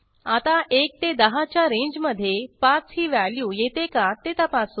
आता 1 ते 10च्या रेंजमधे 5 ही व्हॅल्यू येते का ते तपासू